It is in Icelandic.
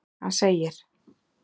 Hann segir:.